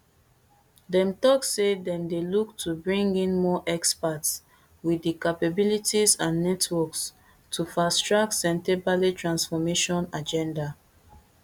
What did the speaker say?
dem tok say dem dey look to bring in more experts wit di capabilities and networks to fast track sentebale transformation agenda